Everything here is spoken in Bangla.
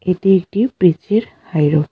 এটি একটি পিচ -এর হাই রোড ।